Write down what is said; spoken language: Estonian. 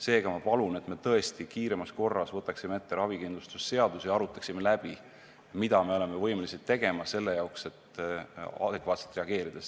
Seega, ma palun, et me tõesti kiiremas korras võtaksime ette ravikindlustuse seaduse ja arutaksime läbi, mida me oleme võimelised tegema selle jaoks, et adekvaatselt reageerida.